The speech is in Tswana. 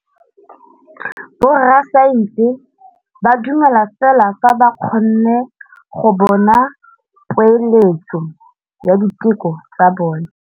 Borra saense ba dumela fela fa ba kgonne go bona poeletsô ya diteko tsa bone.